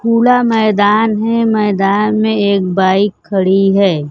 कूड़ा मैदान है मैदान में एक बाइक खड़ी है।